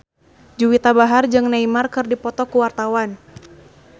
Juwita Bahar jeung Neymar keur dipoto ku wartawan